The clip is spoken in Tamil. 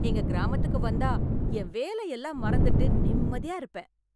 எங்க கிராமத்துக்கு வந்தா என் வேலையெல்லாம் மறந்துவிட்டு நிம்மதியா இருப்பேன்.